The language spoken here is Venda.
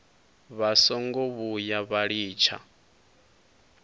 vha songo vhuya vha litsha